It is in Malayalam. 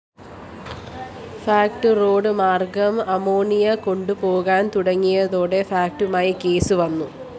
ഫാക്ട്‌ റോഡുമാര്‍ഗ്ഗം അമോണിയ കൊണ്ടുപോകാന്‍ തുടങ്ങിയതോടെ ഫാക്ടുമായി കേസ് വന്നു